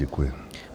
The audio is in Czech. Děkuji.